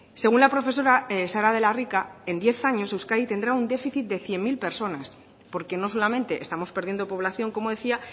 según la profesora sara de la rica en diez años euskadi tendrá un déficit de cien mil personas porque no solamente estamos perdiendo población como decía